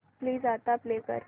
please आता play कर